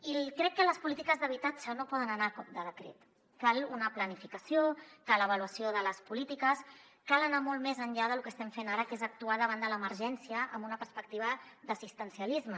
i crec que les polítiques d’habitatge no poden anar a cop de decret cal una planificació cal avaluació de les polítiques cal anar molt més enllà de lo que estem fent ara que és actuar davant de l’emergència amb una perspectiva d’assistencialisme